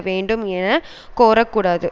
வேண்டும் என கோரக்கூடாது